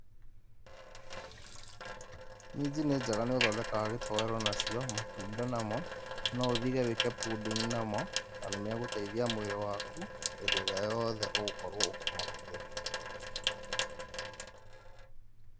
Minji nĩ njega nĩ ũthondekaga gĩtowero nacio, matunda namo, no ũthige wĩke pudding namo, na nĩ magũteithia mwĩrĩ waku, hĩndĩ ĩrĩa yothe ũgũkorwo ũkĩmahũthĩra.